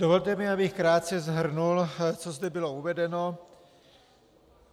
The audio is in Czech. Dovolte mi, abych krátce shrnul, co zde bylo uvedeno.